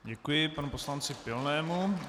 Děkuji panu poslanci Pilnému.